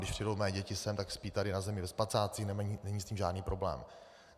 Když přijdou mé děti sem, tak spí tady na zemi ve spacáku, není s tím žádný problém.